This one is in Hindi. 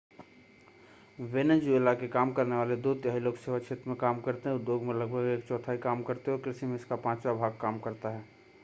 वेनेज़ुएला के काम करने वाले दो तिहाई लोग सेवा क्षेत्र में काम करते हैं उद्योग में लगभग एक चौथाई काम करते हैं और कृषि में इसका पांचवा भाग काम करता है